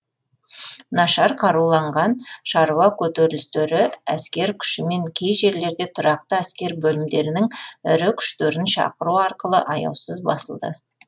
нашар қаруланған шаруа көтерілістері әскер күшімен кей жерлерде тұрақты әскер бөлімдерінің ірі күштерін шақыру арқылы аяусыз басылды